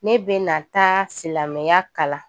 Ne bɛna taa silamɛya kalan